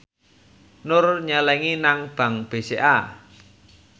Nur nyelengi nang bank BCA